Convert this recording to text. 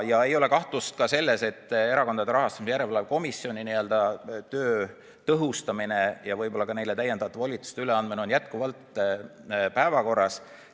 Ja ei ole kahtlust ka selles, et Erakondade Rahastamise Järelevalve Komisjoni töö tõhustamine ja võib-olla ka neile täiendavate volituste andmine on jätkuvalt päevakorras.